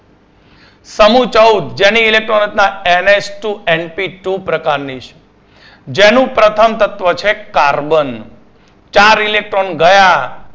સમુહ ચૌદ જેની electron રચના NHtwoNPtwo પ્રકાર ની છે. જેનું પ્રથમ તત્વ છે carbon છે. ચાર electron ગયા